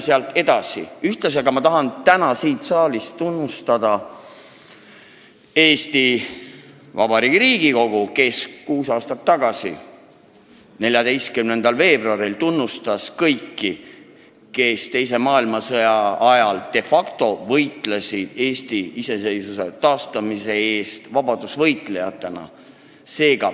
Samas tahan täna siin saalis tunnustada Eesti Vabariigi Riigikogu, kes kuus aastat tagasi 14. veebruaril tunnustas kõiki, kes teise maailmasõja ajal de facto võitlesid Eesti iseseisvuse taastamise eest vabadusvõitlejatena.